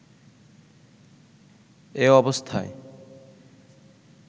এ অবস্থায়